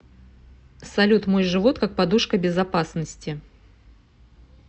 салют мой живот как подушка безопасности